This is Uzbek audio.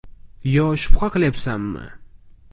[Yo shubha qilyapsanmi?